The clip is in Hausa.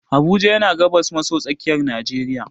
Abuja yana gabas maso tsakiyar najeriya.